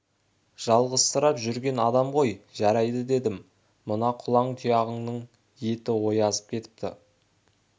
жалғызсырап жүрген адам ғой жарайды дедім мына құлан-тұяғыңның еті оязып кетіпті